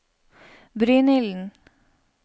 Brynilden